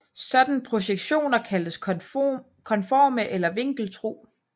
Sådanne projektioner kaldes konforme eller vinkeltro